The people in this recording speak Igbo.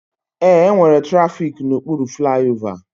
Ee, enwere trafiki na okpuru flaiova